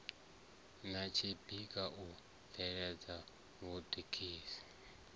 na tshikha u bveledza muḓagasi